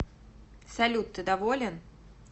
салют ты доволен